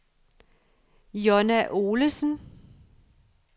Jonna Olesen